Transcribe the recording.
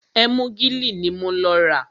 Ẹ́múgìlì ní mo lọ rà.